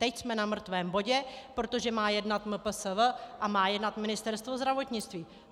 Teď jsme na mrtvém bodě, protože má jednat MPSV a má jednat Ministerstvo zdravotnictví.